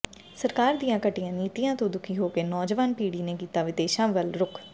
ਸਰਕਾਰ ਦੀਆਂ ਘਟੀਆ ਨੀਤੀਆਂ ਤੋਂ ਦੁਖੀ ਹੋ ਕੇ ਨੌਜਵਾਨ ਪੀੜ੍ਹੀ ਨੇ ਕੀਤਾ ਵਿਦੇਸ਼ਾਂ ਵੱਲ ਰੁਖ